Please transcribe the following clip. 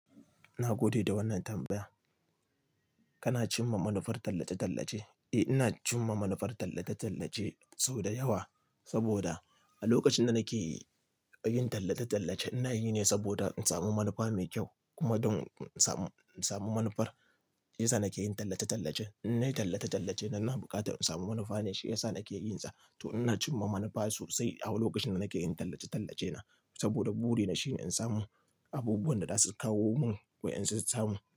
Na gode da wannan tambaya. Kana cimma manufar tallace-tallace? Eh, ina cimma manufar tallace-tallace sau da yawa saboda a lokacin da nake yin tallace-tallace, ina yi ne saboda in samu manufa mai kyau kuma don in samu, in samu manufar. Shi ya sa nake yin tallace-tallace. In nayi tallace-tallace, na na buƙatar in samu manufa ne, shi ya sa nake yin sa. To ina cimma manufa sosai a lokacin da nake yin tallace-tallace na saboda buri ne shine in samu abubuwan da za su kawo mun ko in samu.